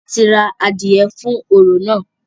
A ti ra adìẹ fún orò náà.